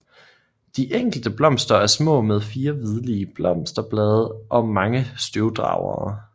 De enkelte blomster er små med 4 hvidlige blosterblade og mange støvdragere